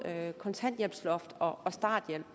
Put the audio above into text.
kontanthjælpsloft og starthjælp